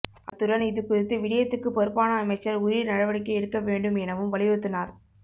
அத்துடன் இது குறித்து விடயத்துக்குப் பொறுப்பான அமைச்சர் உரிய நடவடிக்கை எடுக்கவேண்டும் எனவும் வலியுறுத்தினார்